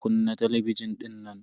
Kunna talabijin dinnan.